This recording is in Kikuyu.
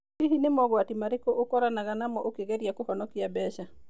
Hihi nĩ mooritũ marĩkũ ũkoranaga namo ũkĩgeria kũhonokia mbeca?